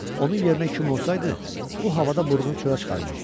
Onun yerinə kim olsaydı, bu havada burnunu çölə çıxarmazdı.